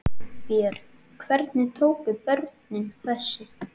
Björn: Hvernig tóku börnin þessu?